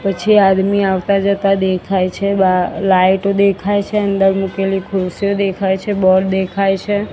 પછી આદમી આવતા જતા દેખાઈ છે બાર લાઈટો દેખાઈ છે અંદર મૂકેલી ખુરસીઓ દેખાઈ છે બોલ દેખાઇ છે.